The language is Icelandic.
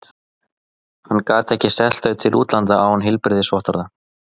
Hann gat ekki selt þau til útlanda án heilbrigðisvottorða.